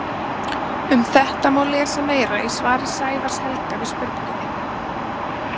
Um þetta má lesa meira í svari Sævars Helga við spurningunni: